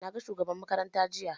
Na ga shugaban makaranta jiya